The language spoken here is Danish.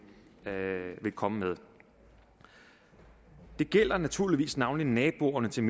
komme med det gælder naturligvis navnlig naboerne til